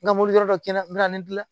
N ka mobili wɛrɛ dɔ kɛ n bɛna ne dilan